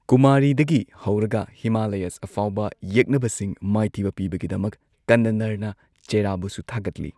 ꯀꯨꯃꯥꯔꯤꯗꯒꯤ ꯍꯧꯔꯒ ꯍꯤꯃꯥꯂꯌꯥꯁ ꯐꯥꯎꯕ ꯌꯦꯛꯅꯕꯁꯤꯡ ꯃꯥꯏꯊꯤꯕ ꯄꯤꯕꯒꯤꯗꯃꯛ ꯀꯟꯅꯅꯔꯅ ꯆꯦꯔꯥꯕꯨꯁꯨ ꯊꯥꯒꯠꯂꯤ꯫